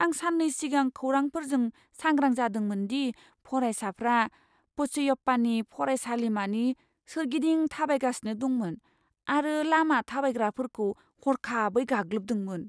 आं साननै सिगां खौरांफोरजों सांग्रां जादोंमोन दि फरायसाफ्रा पचैयप्पानि फरायसालिमानि सोरगिदिं थाबायगासिनो दंमोन आरो लामा थाबायग्राफोरखौ हरखाबै गाग्लोबदोंमोन।